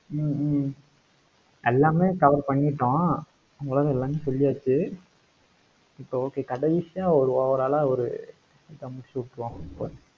ஹம் hmm எல்லாமே cover பண்ணிட்டோம் ஓரளவுக்கு எல்லாமே சொல்லியாச்சு. இப்ப okay கடைசியா ஒரு overall அ ஒரு இத முடிச்சிவிட்டுருவோம்